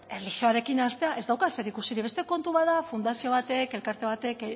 erlijioarekin haztea ez dauka zer ikusirik beste kontu bat da fundazio batek elkarte batek